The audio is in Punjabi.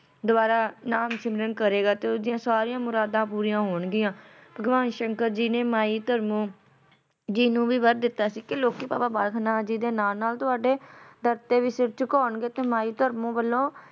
ਦੁਆਰਾ ਨਾਮ ਸਿਮਰਨ ਕਰੇਗਾ ਤੇ ਓਸ ਦੀਆਂ ਸਾਰੀਆਂ ਮੁਰਾਦਾਂ ਪੂਰੀਆਂ ਹੋਣਗੀਆਂ ਭਗਵਾਨ ਸ਼ੰਕਰ ਜੀ ਨੇ ਮਾਈ ਧਰਮੋਂ ਜੀ ਨੂੰ ਵੀ ਵਰ ਦਿੱਤਾ ਸੀ ਕੇ ਲੋਕੀ ਬਾਬਾ ਬਾਲਕ ਨਾਥ ਜੀ ਦੇ ਨਾਲ ਨਾਲ ਤੁਹਾਡੇ ਦਰ ਤੇ ਵੀ ਸਿਰ ਝੁਕਾਉਣਗੇ ਤੇ ਮਾਈ ਧਰਮੋਂ ਵੱਲੋਂ